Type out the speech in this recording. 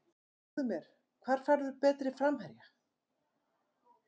Segðu mér, hvar færðu betri framherja?